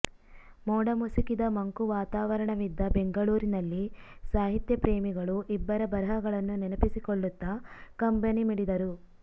ಮೋಡ ಮುಸುಕಿದ ಮಂಕು ವಾತಾವರಣವಿದ್ದ ಬೆಂಗಳೂರಿನಲ್ಲಿ ಸಾಹಿತ್ಯ ಪ್ರೇಮಿಗಳು ಇಬ್ಬರ ಬರಹಗಳನ್ನು ನೆನಪಿಸಿಕೊಳ್ಳುತ್ತಾ ಕಂಬನಿ ಮಿಡಿದರು